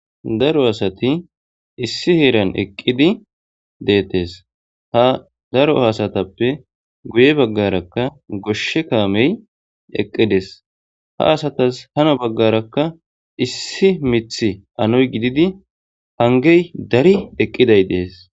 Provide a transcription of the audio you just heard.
daro asati issi heeran eqqidi deettes ha daro haasatappe guye baggarakka goshshe kaamey eqqides ha asatas hano baggarakka issi mith anoy gididi hangey dari eqqiday dees